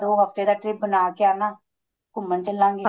ਦੋ ਹਫਤੇ ਦਾ trip ਬਣਾ ਕੇ ਆਣਾ ਘੁੰਮਣ ਚਲਾ ਗੇ